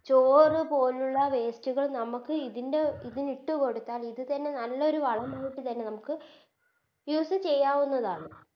ചോറ് പോലുള്ള Waste കൾ നമുക്ക് ഇതിൻറെ ഇതിന് ഇട്ട് കൊടുത്താൽ ഇത് തന്നെ നല്ലൊരു വളമായിട്ട് തന്നെ നമുക്ക് Use ചെയ്യാവുന്നതാണ്